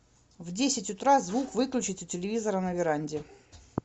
в десять утра звук выключить у телевизора на веранде